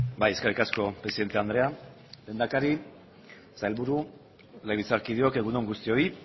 bai eskerrik asko presidente andrea lehendakari sailburu legebiltzarkideok egun on guztioi